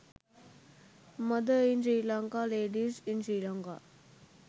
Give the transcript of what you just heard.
mother in sri lanka ladies in sri lanka